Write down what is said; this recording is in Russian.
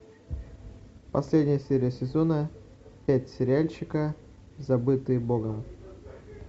последняя серия сезона пять сериальчика забытые богом